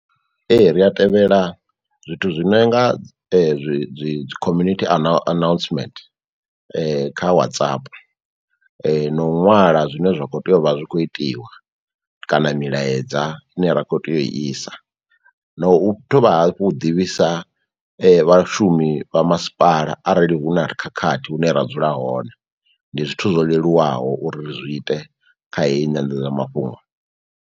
Ee ri a tevhela zwithu zwi no nga zwi dzi dzi community ana announcement kha WhatsApp, no u ṅwala zwine zwa kho tea uvha zwi kho itiwa kana milaedza ine ra kho tea u isa, no u thoma hafhu u ḓivhisa vhashumi vha masipala arali hu na khakhathi hune ra dzula hone. Ndi zwithu zwo leluwaho uri zwi ite kha heyi nyanḓadzamafhungo.